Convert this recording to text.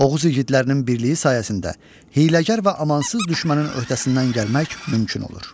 Oğuz igidlərinin birliyi sayəsində hiyləgər və amansız düşmənin öhdəsindən gəlmək mümkün olur.